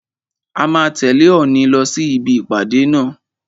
A máa tẹ̀lẹ́ Òòni lọ sí ibi ìpàdé náà.